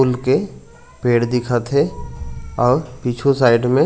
फूल के पेड़ दिखत हे और पीछू साइड में--